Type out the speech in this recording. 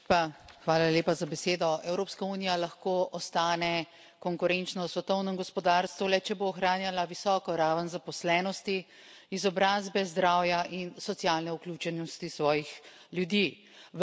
Gospod predsednik, Evropska unija lahko ostane konkurenčna v svetovnem gospodarstvu, le če bo ohranjala visoko raven zaposlenosti, izobrazbe, zdravja in socialne vključenosti svojih ljudi.